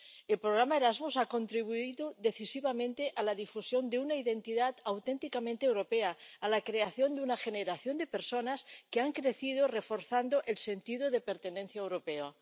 El programa Erasmus ha contribuido decisivamente a la difusión de una identidad auténticamente europea, a la creación de una generación de personas que han crecido reforzando el sentido de pertenencia europeo.